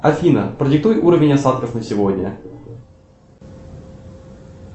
афина продиктуй уровень осадков на сегодня